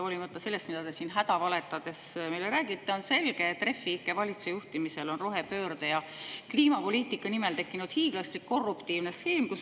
Hoolimata sellest, mida te siin hädavaletades meile räägite, on selge, et Refi ikke valitsuse juhtimisel on rohepöörde ja kliimapoliitika nimel tekkinud hiiglaslik korruptiivne skeem.